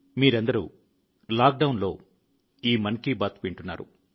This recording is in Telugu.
మీరందరూ లాక్డౌన్లో ఈ మన్ కి బాత్ వింటున్నారు